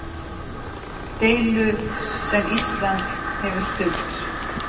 Deilu sem Ísland hefur stutt.